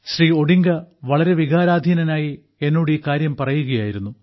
Shri Odinga വളരെ വികാരാധീനനായി എന്നോട് ഈ കാര്യം പറയുകയായിരുന്നു